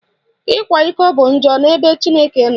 Ịkwa iko bụ njọ n'ebe Chineke nọ.